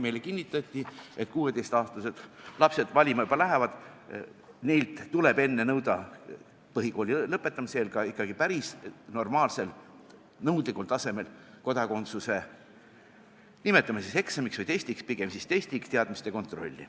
Meile kinnitati, et 16-aastased lapsed lähevad juba valima, neilt tuleb enne nõuda põhikooli lõpetamise eel ka ikkagi päris normaalsel, nõudlikul tasemel kodakondsuse teadmiste kontrolli – nimetame seda siis eksamiks või testiks, pigem siis testiks.